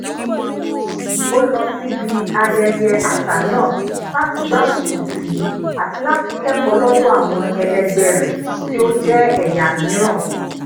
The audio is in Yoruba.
ó lọ síbi ayẹyẹ àṣà náà láti gbárùkùtì àti láti kẹkọọ lọdọ àwọn ẹlẹgbẹ rẹ tí o je eya miiran